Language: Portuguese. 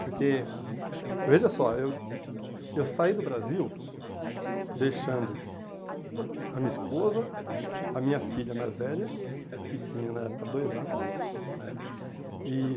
Porque, veja só, eu eu saí do Brasil deixando a minha esposa, a minha filha mais velha, que tinha na época dois anos, né? E